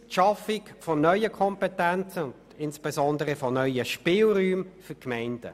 Drittens schaffen sie neue Kompetenzen und insbesondere neue Spielräume für die Gemeinden.